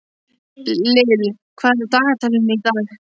Lill, hvað er á dagatalinu í dag?